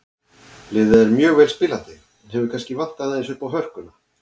Liðið er mjög vel spilandi en hefur kannski vantað aðeins uppá hörkuna.